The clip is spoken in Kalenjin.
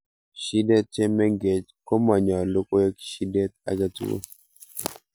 shidet che mengech komanyalun koek shidet agetugul